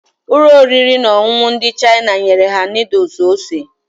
Ụlọ oriri na ọṅụṅụ ndị China nyere ha noodles ose